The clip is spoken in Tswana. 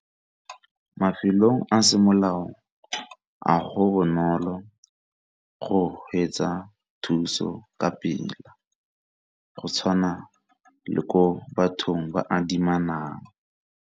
Mafelong a semolao a go bonolo go hwetša thuso ka pela ga go tshwana le ko bathong ba ba adimisanang.